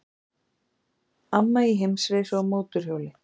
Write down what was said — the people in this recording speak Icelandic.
Amma í heimsreisu á mótorhjóli